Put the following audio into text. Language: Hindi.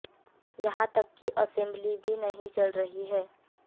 यहां तक कि असेंबली भी नहीं चल रही है